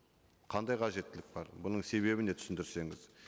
қандай қажеттілік бар бұның себебі не түсіндірсеңіз